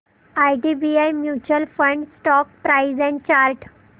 IDBI mutual fund stock price and chart